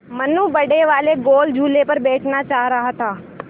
मनु बड़े वाले गोल झूले पर बैठना चाह रहा था